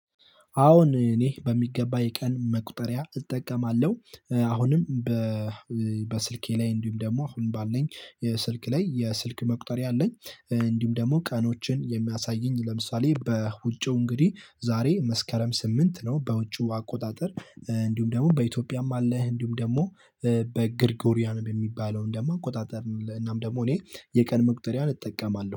አዎን እኔ በሚገባ የቀን መቁጠሪያ እጠቀማለሁ አሁንም በስልኬ ላይ እንዲሁም ደግሞ አሁን ባለኝ ስልክ ላይ የስልክ መቁጠሪያ አለኝ። እንዲሁም ደግሞ ቀኖችን የሚያሳየኝ ለምሳሌ በውጪው እንግዲህ ዛሬ መስከረም ስምንት ነው በውጪው አቆጣጠር እንዲሁም ደግሞ በኢትዮጵያም አለ። እንዲሁም ደግሞ በግርጎሪያን በሚባለውም ደግሞ አቆጣጠርን እናም ደግሞ እኔ የቀን መቁጠሪያን እጠቀማለሁ